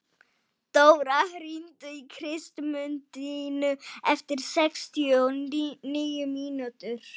Laugey, hvar er dótið mitt?